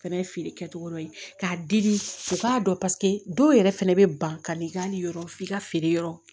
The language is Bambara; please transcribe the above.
Fɛnɛ ye feere kɛcogo dɔ ye k'a di u k'a dɔn paseke dɔw yɛrɛ fɛnɛ bɛ ban ka n'i ka nin yɔrɔ f'i ka feere yɔrɔ